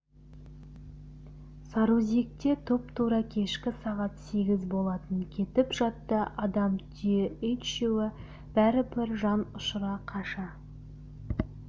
сарыөзекте тұп-тура кешкі сағат сегіз болатын кетіп жатты адам түйе ит үшеуі бәрібір жан ұшыра қаша